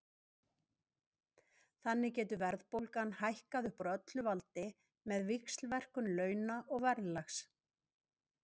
Þannig getur verðbólgan hækkað upp úr öllu valdi við víxlverkun launa og verðlags.